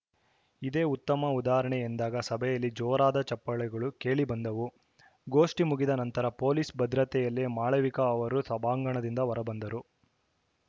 ಇದೇ ಉತ್ತಮ ಉದಾಹರಣೆ ಎಂದಾಗ ಸಭೆಯಲ್ಲಿ ಜೋರಾದ ಚೆಪ್ಪಾಳೆಗಳು ಕೇಳಿ ಬಂದವು ಗೋಷ್ಠಿ ಮುಗಿದ ನಂತರ ಪೊಲೀಸ್‌ ಭದ್ರತೆಯಲ್ಲೇ ಮಾಳವಿಕಾ ಅವರು ಸಭಾಂಗಣದಿಂದ ಹೊರಬಂದರು